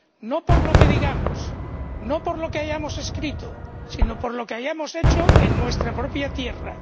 no por lo que digamos, no por lo que hayamos escrito, sino por lo que hayamos hecho en nuestra propia tierra.